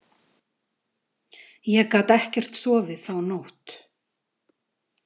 Ég gat ekkert sofið þá nótt.